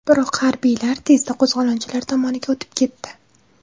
Biroq harbiylar tezda qo‘zg‘olonchilar tomoniga o‘tib ketdi.